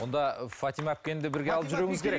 онда фатима әпкені де бірге алып жүруіңіз керек